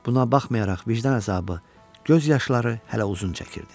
Buna baxmayaraq, vicdan əzabı, göz yaşları hələ uzun çəkirdi.